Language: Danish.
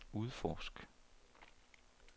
udforsk